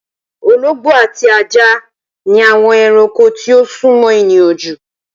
Ológbó ati ájá ni awõn erankó tí o súmõ èniyàn ju.